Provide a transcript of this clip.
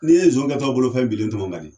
N'i ye nson kɛ tɔ bolo fɛn bilen tɔmɔ ka di